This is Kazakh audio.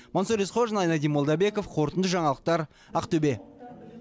мансұр есқожин айнадин молдабеков қорытынды жаңалықтар ақтөбе